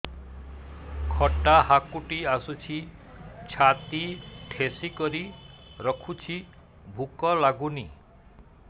ଖଟା ହାକୁଟି ଆସୁଛି ଛାତି ଠେସିକରି ରଖୁଛି ଭୁକ ଲାଗୁନି